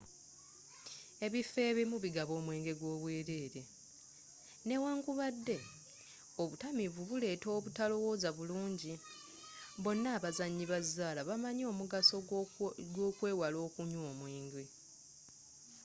ebifo ebimu bigaba omwenge gwo obwerere newankubadde obutamiivu buleeta obutalowoza bulungi bonna abazanyi ba zzaala bamanyi omugaso gw'okwewala okunywa omwenge